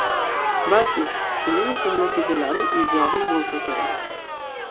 Balki shuning uchun natijalarim ijobiy bo‘lsa kerak.